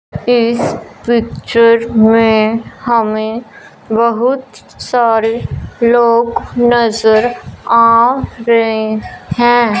इस पिक्चर में हमें बहुत सारे लोग नजर आ रहे हैं।